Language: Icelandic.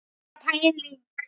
Bara pæling!